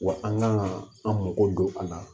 Wa an kan ka an mago don a la